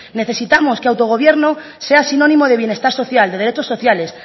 necesitamos que autogobierno sea sinónimo de bienestar social de derechos sociales